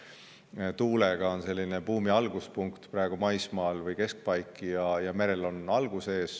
Tuule puhul on maismaal praegu buumi alguspunkt või keskpaik, mere puhul on algus ees.